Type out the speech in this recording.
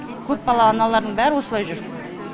көпбалалы аналардың бәрі осылай жүр